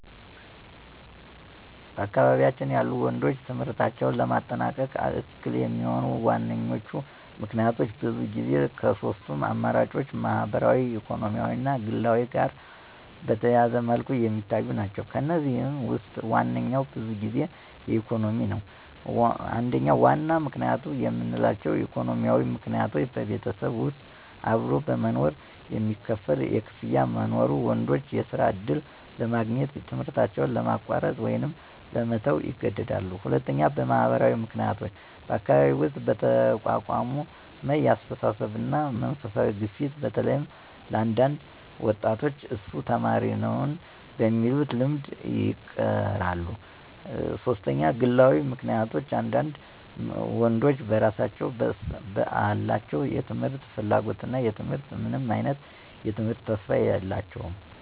በአካባቢዬ ያሉ ወንዶች ትምህርታቸውን ለማጠናቀቅ እክል የሚሆኑ ዋነኞቹ ምክንያቶች ብዙ ጊዜ ከሶስቱም አማራጮች ማህበራዊ ኢኮኖሚያዊ እና ግላዊ ጋር በተያያዘ መልኩ የሚታዩ ናቸው። ከእነዚህም ውስጥ ዋነኛው ብዙ ጊዜ ኢኮኖሚያዊ ነው። 1. ዋና ምክንያቶች የምንላቸው: ኢኮኖሚያዊ ምክንያቶች በቤተሰብ ውስጥ አብሮ በመኖር የሚከፈል ክፍያ በመኖሩ፣ ወንዶች የስራ ዕድል ለማግኘት ትምህርታቸውን ለማቋረጥ ወይም ለመተው ይገደዳሉ። 2. ማህበራዊ ምክንያቶች በአካባቢ ውስጥ በተቋቋመ የአስተሳሰብ እና መንፈሳዊ ግፊት በተለይም ለአንዳንድ ወጣቶች እሱ ተማሪ ነውን? በሚሉት ልምድ ይቀራሉ። 3. ግላዊ ምክንያቶች አንዳንድ ወንዶች በራሳቸው በአላቸው የትምህርት ፍላጎት እና ትምክህት ምንም አይነት የትምህርት ተስፋ የላቸውም።